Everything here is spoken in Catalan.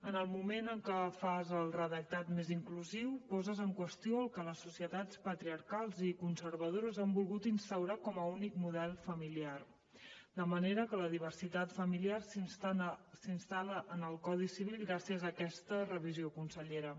en el moment en què fas el redactat més inclusiu poses en qüestió el que les societats patriarcals i conservadores han volgut instaurar com a únic model familiar de manera que la diversitat familiar s’instal·la en el codi civil gràcies a aquesta revisió consellera